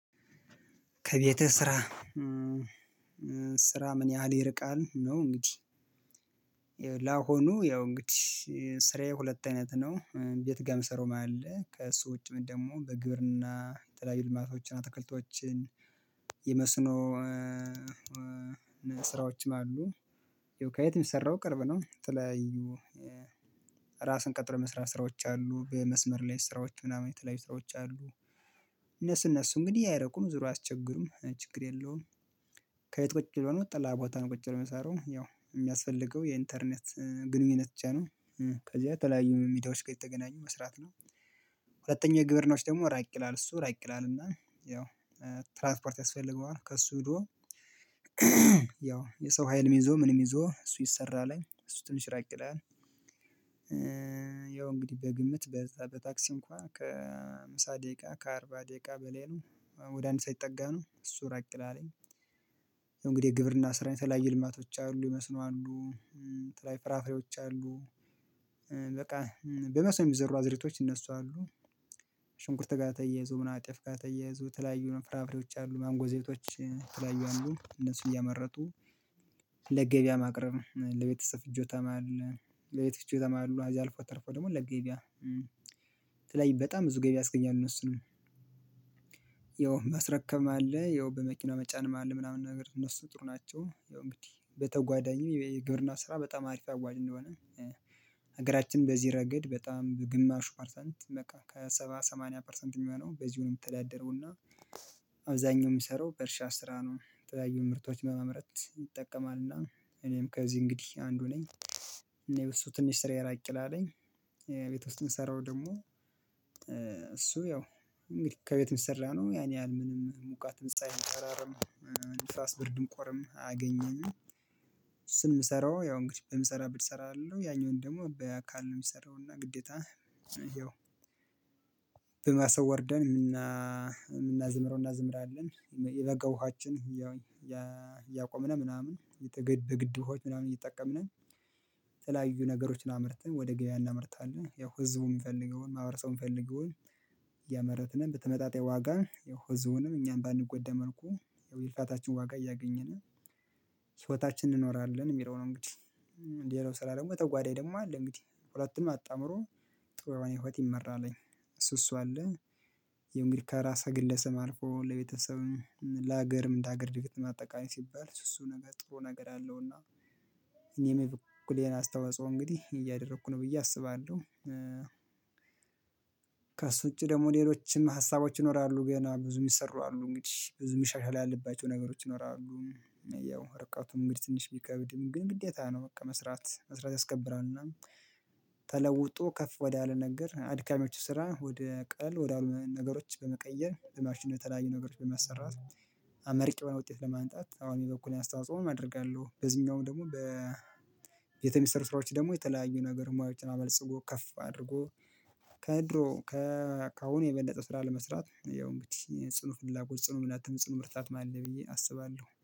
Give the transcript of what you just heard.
ከቤትህ ስራ ስራ ምን ያህል ይርቃል? ነው እንግዲህ ላሁኑ ያው እንግዲህ ሁለት አይነት ነው። ቤት ጋ የምሰራውም አለ። ከእሱ ውጪም ደግሞ በግብርና የተለያዩ ልማቶችን አትክልቶችን የመስኖ ስራዎችም አሉ። ከየትም ሰራው ቅርብ ነው። የተለያዩ ራስን ቀጥሮ የመስራት ስራዎች አሉ። በመስመር ላይ ስራዎች ምናምን የተለያዩ ስራዎች አሉ። እነሱ እንግዲህ አይርቁም ዙሮ አያስቸግሩም ችግር የለውም። ከየት ቁጭ ብሎ ነው። ጥላ ቦታ ነው ቁጭ ብለን የሚሰራው። ያው የሚያስፈልገው የኢንተርኔት ግንኙነት ብቻ ነው። ከዚያ የተለያዩ ሚዲያዎች ጋር እየተገናኙ መስራት ነው። ሁለተኛ ግብርኖች ደግሞ ራቅ ይላል እሱ ራቅ ይላልና እና ያው ትራንስፖርት ያስፈልገዋል ከሱ ሂዶ ያው የሰው ሀይልም ይዞ ምንም ይዞ እሱ ይሰራል። እሱ ትንሽ ራቅ ይላል። ያው እንግዲህ በግምት በዛ በታክስ እንኳን ከሃምሳ ደቂቃ ከአርባ ደቂቃ በላይ ነው። ወደ አንድ ሰዓት የተጠጋ ነው። እሱ ራቅ ይላል። ያው እንግዲህ የግብርና ስራ የተለያዩ ልማቶች አሉ መስኖ አሉ የተለያዩ ፍራፍሬዎች አሉ በቃ በመስኖ የሚዘሩ አዝሬቶች እነሱ አሉ ሽንኩርት ጋር ተያይዞ ምን ጤፍ ጋር ተያይዞ የተለያዩ ፍራፍሬዎች አሉ ማንጎ ዘይቶች የተለያዩ አሉ እነሱ እያመረቱ ለገበያ ማቅረብ፣ ለቤተሰብ ፍጆታም አለ ለቤት ፍጆታም አሉ እዛ አልፎ ተርፎ ደግሞ ለገበያ የተለያዩ በጣም ብዙ ገቢ ያስገኛል እነሱንም። ያው ማስረከብ አለ ያው በመኪና መጫንም አለ ምናምን ነገር እነሱ ጥሩ ናቸው ያው እንግዲህ በተጓዳኝም የግብርና ስራ በጣም አሪፍ አዋጪ እንደሆነ ሀገራችን በዚህ ረገድ በጣም በግማሹ ፐርሰንት በቃ ከሰባ ሰማንያ ፐርሰንት የሚሆነው በዚሁ የሚተዳደረውና አብዛኛው የሚሰራው በእርሻ ስራ ነው። የተለያዩ ምርቶች በማምረት ይጠቀማልና እኔም ከዚህ እንግዲህ አንዱ ነኝ። እኔ እሱ ትንሽ ስራ ራቅ ይላል። ቤት ውስጥ የምሰራው ደግሞ ያው እንግዲህ ከቤት የሚሰራ ነው ያን ያህል ምንም ሙቀትም ፀሀይም ጨረርም ንፋስ ብርድም ቁርም አያገኘንም። እሱን የምሰራው ያው እንግዲህ በምሰራበት እሰራለው። ያኛውን ደግሞ በአካል ነው የሚሰራው እና ግዴታ ያው በማሳ ወርደን የምና የምናዘምረውን እናዘምራለን የበጋ ውሃችን ያቆምነን ምናምን የተገድ በግድብ ውሃዎች ምናምን እየተጠቀምን የተለያዩ ነገሮችን አምርተን ወደ ገበያ እናምርታለን። ያው ህዝቡ የምፈልገውን ማህበረሰቡ የምፈልገውን እያመረትንም በተመጣጣኝ ዋጋ ያው ህዝቡንም እኛም ባንጎዳ መልኩ የልፋታችን ዋጋ እያገኘን ህይወታችን እንኖራለን የሚለው ነው እንግዲህ። ሌላው ስራ ደግሞ የተጓዳኝ ደግሞ አለ እንግዲህ። ሁለቱም አጣምሮ ጥሩ የሆነ ህይወት ይመራል። እሱ እሱ አለ ያው እንግዲህ ከራስ ግለሰብ አልፎ ለቤተሰብም፣ ለሀገርም እንደ ሀገር እድገት ጠቃሚ ሲባል እሱ እሱ ነገር ጥሩ ነገር አለውና እኔም የበኩሌን አስታውጻኦ እንግዲህ እያደረኩ ነው ብዬ አስባለሁ። ከእሱ ውጪ ደግሞ ሌሎችም ሀሳቦች ይኖራሉ ገና ብዙ የሚሰሩ አሉ። እንግዲህ ብዙም መሻሻል ያለባቸው ነገሮች ይኖራሉ። ያው ርቀቱም እንግዲህ ትንሽ ቢከብድም ግን ግዴታ ነው በቃ መስራት መስራት ያስከብራል እና ተለውጦ ከፍ ወዳለ ነገር አድካሚዎቹ ስራ ወደ ቀለል ወደ ነገሮች በመቀየር በማሽን በተለያዩ ነገሮች በማሰራት አመርቂ የሆነ ውጤት ለማምጣት አሁን የበኩሌን አስተዋጽኦ አደርጋለሁ። በዚህኛውም ደግሞ በ ቤት የሚሰሩ ስራዎች ደግሞ የተለያዩ ነገር ሙያዎችን አበልጽጎ ከፍ አድርጎ ከድሮ ከአሁን የበለጠ ስራ ለመስራት ያው እንግዲህ ጽኑ ፍላጎት ጽኑ እምነትም ጽኑ ብርታትም አለኝ ብዬ አስባለሁ።